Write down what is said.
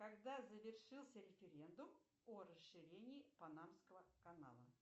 когда завершился референдум о расширении панамского канала